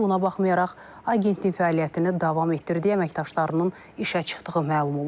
Buna baxmayaraq agentliyin fəaliyyətini davam etdirdiyi əməkdaşlarının işə çıxdığı məlum olub.